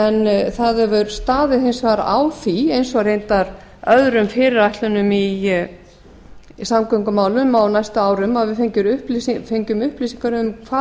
en það hefur staðið hins vegar á því eins og reyndar öðrum fyrirætlunum í samgöngumálum á næstu árum að við fengjum upplýsingar fengjum upplýsingar um hvað